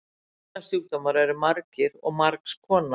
Nýrnasjúkdómar eru margir og margs konar.